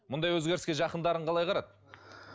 мұндай өзгеріске жақындарың қалай қарады